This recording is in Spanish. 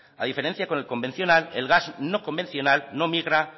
a diferencia con el convencional el gas no convencional no migra